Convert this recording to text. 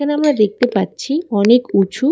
এখানে আমরা দেখতে পাচ্ছি অনেক উঁচু--